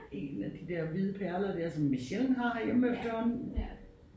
En af de der hvide pejler der som vi sjældent har herhjemme efterhånden